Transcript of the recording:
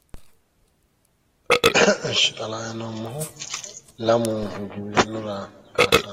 Ishshi xa la"ayi noommohu lamu giwirinnu raa kaassanni.